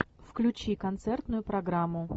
включи концертную программу